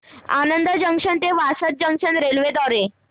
Anand junction ते Vasad junction railway द्वारे